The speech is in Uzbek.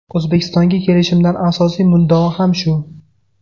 O‘zbekistonga kelishimdan asosiy muddao ham shu.